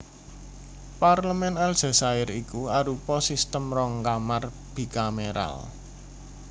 Parlemèn Aljazair iku arupa sistem rong kamar bikameral